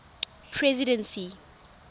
presidency